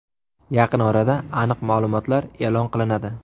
Yaqin orada aniq ma’lumotlar e’lon qilinadi.